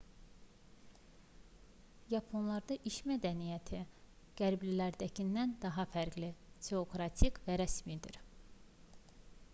yaponlarda iş mədəniyyəti qərblilərdəkindən daha fərqli teokratik və rəsmidir